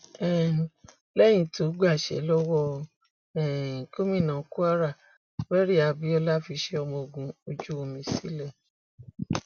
um lẹyìn tó gbaṣẹ lọwọ um gómìnà kwara abiola fiṣẹ ọmọ ogun ojú omi sílẹ